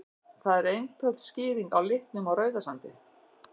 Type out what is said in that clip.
Það er einföld skýring á litnum á Rauðasandi.